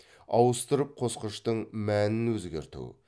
ауыстырып қосқыштың мәнін өзгерту